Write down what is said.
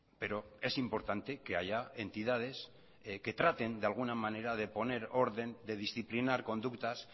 pero es importante que haya entidades que traten de alguna manera de poner orden de disciplinar conductas